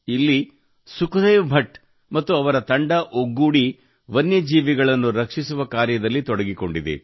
ಇಲ್ಲಿ ಸುಖದೇವ್ ಭಟ್ ಮತ್ತು ಅವರ ತಂಡ ಒಗ್ಗೂಡಿ ವನ್ಯಜೀವಿಗಳನ್ನು ರಕ್ಷಿಸುವ ಕಾರ್ಯದಲ್ಲಿ ತೊಡಗಿಕೊಂಡಿದೆ